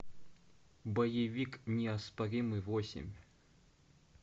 боевик неоспоримый восемь